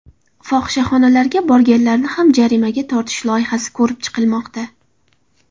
Fohishaxonalarga borganlarni ham jarimaga tortish loyihasi ko‘rib chiqilmoqda.